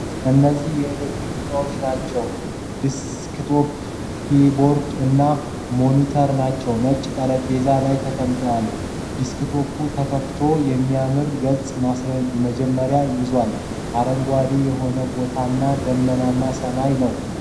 እነዚህ የኤሌክትሮኒክስ እቃዎች ናቸው ። ደስክቶፕ ፣ ኪይቦርድ እና ሞኒተር ናቸዉ ። ነጭ ጠረጴዛ ላይ ተቀምጠዋል ። ደስክቶፑ ተከፍቶ የሚያም የገጽ ማስጀመሪያ ይዟል ። አረንጓዴ የሆነ ቦታና ደመናማ ሰማይ ነው።